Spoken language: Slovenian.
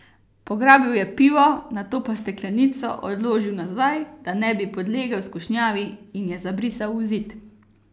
Pograbil je pivo, nato pa steklenico odložil nazaj, da ne bi podlegel skušnjavi in je zabrisal v zid.